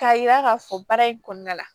K'a yira k'a fɔ baara in kɔnɔna la